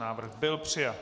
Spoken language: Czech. Návrh byl přijat.